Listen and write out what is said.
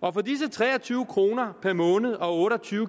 og for disse tre og tyve kroner per måned og otte og tyve